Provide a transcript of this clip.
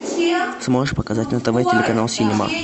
сможешь показать на тв телеканал синема